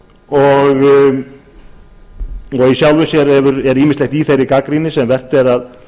og í sjálfu sér er ýmislegt í þeirri gagnrýni sem vert er að